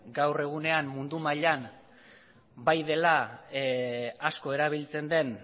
gaur egunean mundu mailan bai dela asko erabiltzen den